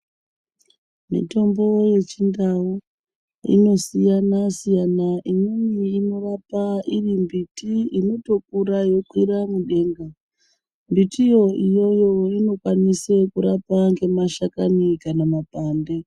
Mitombo yechindau inosiyana siyana, imweni inorapa iri mbiti inotokura yeikwira mudenga. Mbitiyo iyoyo inokwanisa kurapa ngemashakani kana makwande.